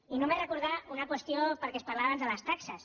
i només recordar una qüestió perquè es parlava abans de les taxes